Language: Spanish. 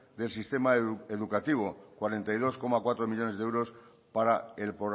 del sistema educativo cuarenta y dos coma cuatro millónes de euros para el